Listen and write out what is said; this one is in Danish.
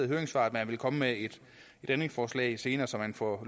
høringssvar at man vil komme med et ændringsforslag senere så man får